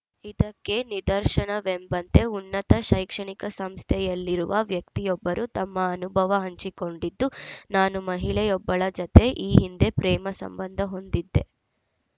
ಇದಕ್ಕೆ ನಿದರ್ಶನವೆಂಬಂತೆ ಉನ್ನತ ಶೈಕ್ಷಣಿಕ ಸಂಸ್ಥೆಯಲ್ಲಿರುವ ವ್ಯಕ್ತಿಯೊಬ್ಬರು ತಮ್ಮ ಅನುಭವ ಹಂಚಿಕೊಂಡಿದ್ದು ನಾನು ಮಹಿಳೆಯೊಬ್ಬಳ ಜತೆ ಈ ಹಿಂದೆ ಪ್ರೇಮ ಸಂಬಂಧ ಹೊಂದಿದ್ದೆ